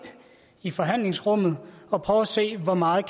i forhandlingsrummet og prøve at se hvor meget